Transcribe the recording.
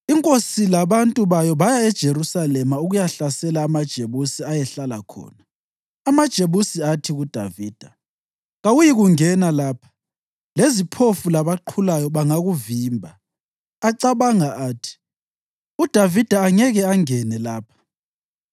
Inkosi labantu bayo baya eJerusalema ukuyahlasela amaJebusi ayehlala khona. AmaJebusi athi kuDavida, “Kawuyikungena lapha; leziphofu labaqhulayo bangakuvimba.” Acabanga athi, “UDavida angeke angene lapha.”